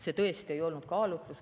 See tõesti ei olnud kaalutlus.